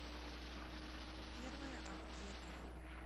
первая аптека